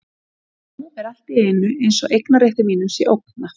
En nú er allt í einu eins og eignarrétti mínum sé ógnað.